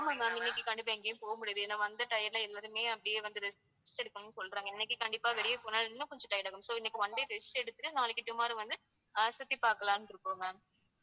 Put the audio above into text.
ஆமா ma'am இன்னைக்கு கண்டிப்பா எங்கேயும் போக முடியாது ஏன்னா வந்த tired ல எல்லாருமே அப்படியே வந்து rest எடுக்கணும்ன்னு சொல்றாங்க. இன்னைக்கு கண்டிப்பா வெளிய போனா இன்னும் கொஞ்சம் tired ஆகும் so இன்னைக்கு one-day rest எடுத்துட்டு நாளைக்கு tomorrow வந்து அஹ் சுற்றி பார்க்கலாம்னு இருக்கோம் ma'am